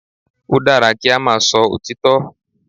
Ó dára kí á máa sọ òtítọ́.